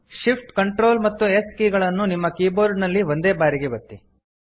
Shift Ctrl ಮತ್ತು S key ಗಳನ್ನು ನಿಮ್ಮ ಕೀಬೋರ್ಡ್ ನಲ್ಲಿ ಒಂದೇ ಬಾರಿಗೆ ಒತ್ತಿ